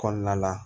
Kɔnɔna la